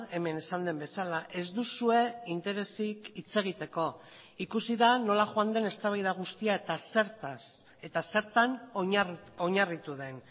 hemen esan den bezala ez duzue interesik hitz egiteko ikusi da nola joan den eztabaida guztia eta zertaz eta zertan oinarritu den